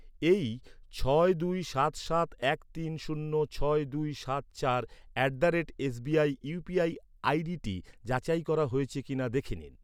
এই ছয় দুই সাত সাত এক তিন শূন্য ছয় দুই সাত চার at the rate SBI UPI আইডিটি যাচাই করা হয়েছে কিনা দেখে নিন।